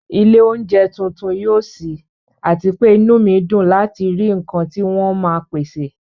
ilé oúnjẹ tuntun yóò ṣí, àti pé inú mi dùn láti rí nǹkan tí wọ́n máa pèsè